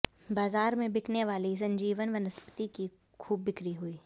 बाजार में बिकने वाली संजीवन वनस्पति की खूब बिक्री हुई